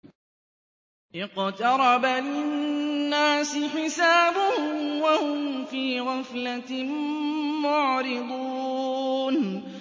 اقْتَرَبَ لِلنَّاسِ حِسَابُهُمْ وَهُمْ فِي غَفْلَةٍ مُّعْرِضُونَ